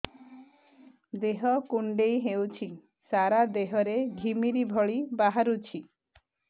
ଦେହ କୁଣ୍ଡେଇ ହେଉଛି ସାରା ଦେହ ରେ ଘିମିରି ଭଳି ବାହାରୁଛି